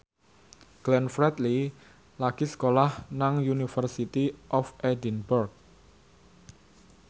Glenn Fredly lagi sekolah nang University of Edinburgh